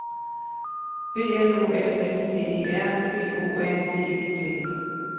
B L O M S T E R B O R D E T